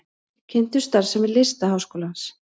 Kynntu starfsemi Listaháskólans